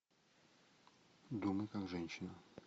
думай как женщина